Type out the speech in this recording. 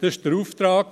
Das war der Auftrag.